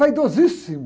Vaidosíssimo.